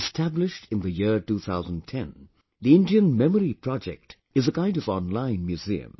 Established in the year 2010, Indian Memory Project is a kind of online museum